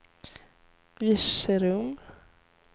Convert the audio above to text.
Virserum